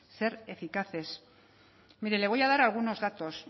ser eficaces mire le voy a dar algunos datos